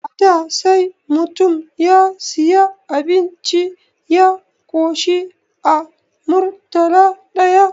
A da sai mutum ya siyu abinci ya koshi a Murtala ɗaya